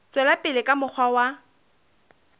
tswela pele ka mokgwa wa